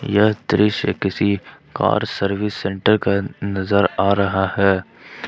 यह दृश्य किसी कार सर्विस सेंटर का नजर आ रहा है ।